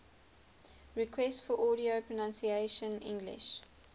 requests for audio pronunciation english